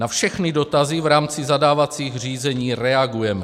Na všechny dotazy v rámci zadávacích řízení reagujeme.